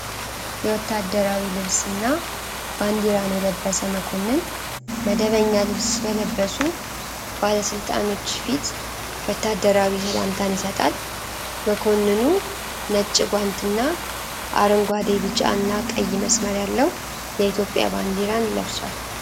የወታደራዊ ልብስ እና ባንዲራን የለበሰ መኮንን መደበኛ ልብስ በለበሱ ባለ ስልጣኖች ፊት ወታደራዊ ሰላምታን ይሰጣል። መኮንኑ ነጭ ጓንት እና አረንጓዴ፣ ቢጫ እና ቀይ መስመር ያለው የኢትዮጵያን ባንዲራ ለብሷል።